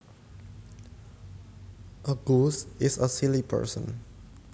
A goose is a silly person